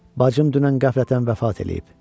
Bacım dünən qəflətən vəfat eləyib.